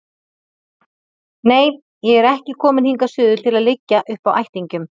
Nei, ég er ekki komin hingað suður til að liggja uppi á ættingjum